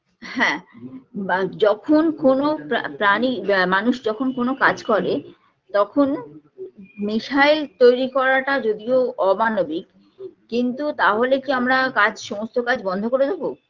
হ্যাঁ বা যখন কোনো প্রা প্রাণী মানুষ যখন কোনো কাজ করে তখন নেশায় তৈরি করাটা যদিও অমানবিক কিন্তু তাহলে কি আমরা কাজ সমস্ত কাজ বন্ধ করে দেব